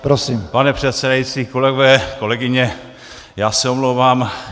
Pane předsedající, kolegové, kolegyně, já se omlouvám.